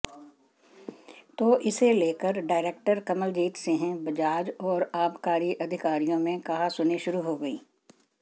तो इसे लेकर डायरेक्टर कमलजीत सिंह बजाज और आबकारी अधिकारियों में कहासुनी शुरू हो गई